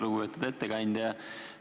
Lugupeetud ettekandja!